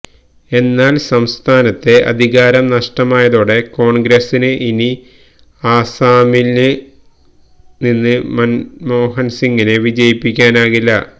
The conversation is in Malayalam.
എന്നാല് സംസ്ഥാനത്തെ അധികാരം നഷ്ടമായതോടെ കോണ്ഗ്രസിന് ഇനി അസമില് നിന്ന് മന്മോഹന്സിങ്ങിനെ വിജയിപ്പിക്കാനാകില്ല